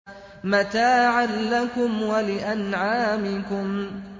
مَتَاعًا لَّكُمْ وَلِأَنْعَامِكُمْ